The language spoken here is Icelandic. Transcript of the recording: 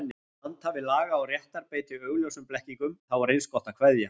Þegar handhafi laga og réttar beitir augljósum blekkingum, þá er eins gott að kveðja.